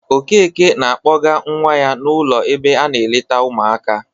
Okeke na-akpọga nwa ya n'ụlọ ebe a na-eleta ụmụaka.